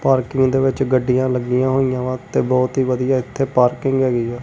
Parking ਦੇ ਵਿੱਚ ਗੱਡੀਆਂ ਲੱਗੀਆਂ ਹੋਈਆਂ ਤੇ ਬਹੁਤ ਹੀ ਵਧੀਆ ਇਥੇ ਪਾਰਕਿੰਗ ਹੈਗੀ ਹੈ।